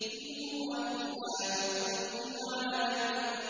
إِنْ هُوَ إِلَّا ذِكْرٌ لِّلْعَالَمِينَ